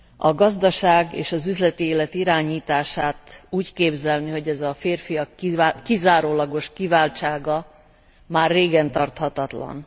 A gazdaság és az üzleti élet irányítását úgy képzelni, hogy az a férfiak kizárólagos kiváltsága, már régen tarthatatlan.